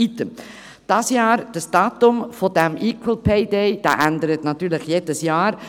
Item, das Datum des «Equal Pay Day» ändert natürlich jedes Jahr.